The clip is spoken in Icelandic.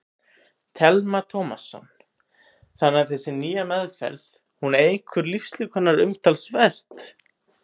Telma Tómasson: Þannig að þessi nýja meðferð, hún eykur lífslíkurnar umtalsvert?